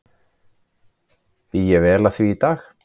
Bý ég vel að því í dag.